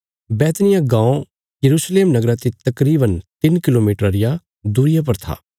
बैतनिय्याह गाँव यरूशलेम नगरा ते तकरीवन तिन्न किलोमीटरा रिया दूरिया पर था